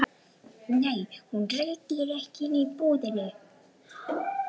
Nei, hún reykir ekki inni í búðinni.